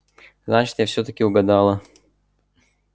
значит я всё-таки угадала